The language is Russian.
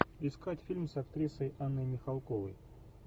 искать фильм с актрисой анной михалковой